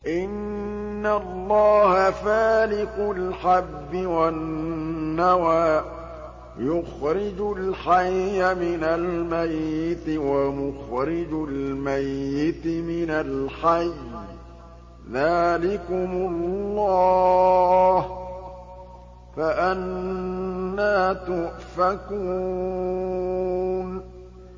۞ إِنَّ اللَّهَ فَالِقُ الْحَبِّ وَالنَّوَىٰ ۖ يُخْرِجُ الْحَيَّ مِنَ الْمَيِّتِ وَمُخْرِجُ الْمَيِّتِ مِنَ الْحَيِّ ۚ ذَٰلِكُمُ اللَّهُ ۖ فَأَنَّىٰ تُؤْفَكُونَ